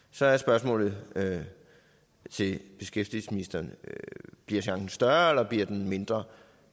så er spørgsmålet til beskæftigelsesministeren bliver chancen større eller bliver den mindre